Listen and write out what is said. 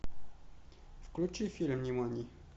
включи фильм нимани